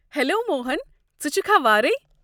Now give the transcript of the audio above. Hello Mohan, ژٕ چھُکھا وارے؟